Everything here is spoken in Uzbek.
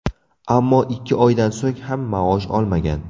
Ammo ikki oydan so‘ng ham maosh olmagan.